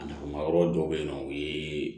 A nafa ma yɔrɔ dɔw bɛ yen nɔ o ye